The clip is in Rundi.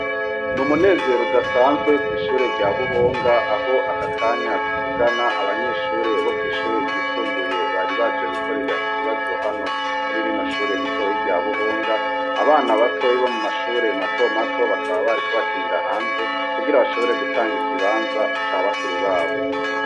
N'umunezero udasanzwe kw'ishure rya buhonga aka kanya tuvugana aho abanyeshure bo kwishure ryisumbuye bari baje gukorera ikibazo hano kw'ishure ritoyi rya buhonga, abana batoyi bo mumashure mato mato bakaba bariko bakinira hanze kugira bashobore gutanga ikibanza ca bakuru babo.